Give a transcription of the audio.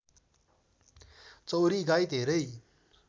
चौँरी गाई धेरै